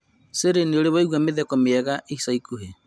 siri nĩ ũrĩ waigua mĩtheko mĩega ica ikuhĩ